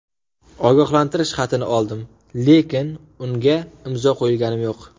Ogohlantirish xatini oldim, lekin unga imzo qo‘yganim yo‘q.